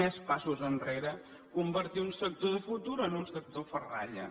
més passos enrere convertir un sector de futur en un sector ferralla